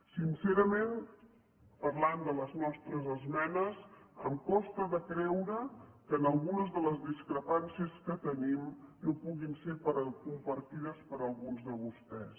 sincerament parlant de les nostres esmenes em costa de creure que algunes de les discrepàncies que tenim no puguin ser compartides per alguns de vostès